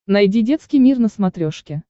найди детский мир на смотрешке